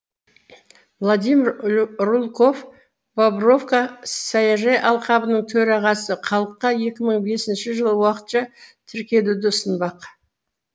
владимир рульков бобровка саяжай алқабының төрағасы халыққа екі мың бесінші жылы уақытша тіркелуді ұсындық